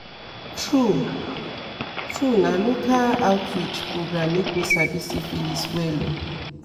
true true na local outreach program make me sabi syphilis well o